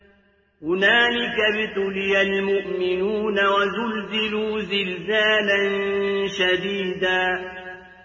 هُنَالِكَ ابْتُلِيَ الْمُؤْمِنُونَ وَزُلْزِلُوا زِلْزَالًا شَدِيدًا